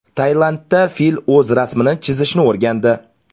Tailandda fil o‘z rasmini chizishni o‘rgandi .